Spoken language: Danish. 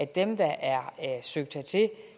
dem der er søgt hertil